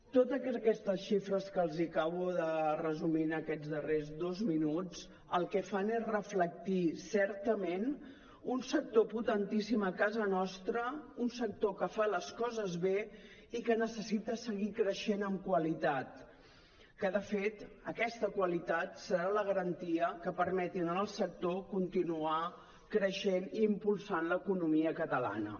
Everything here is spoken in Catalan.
totes aquestes xifres que els acabo de resumir en aquests darrers dos minuts el que fan és reflectir certament un sector potentíssim a casa nostra un sector que fa les coses bé i que necessita seguir creixent en qualitat que de fet aquesta qualitat serà la garantia que permeti al sector continuar creixent i impulsant l’economia catalana